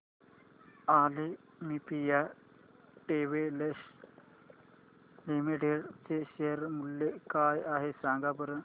Olympia textiles limited चे share मूल्य काय आहे सांगा बरं